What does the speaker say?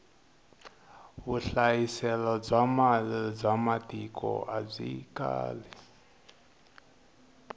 vuhlayiselo bya mali ba matiko abyi kali